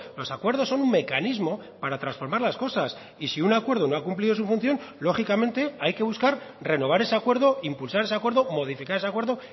los acuerdos son un mecanismo para transformar las cosas y si un acuerdo no ha cumplido su función lógicamente hay que buscar renovar ese acuerdo impulsar ese acuerdo modificar ese acuerdo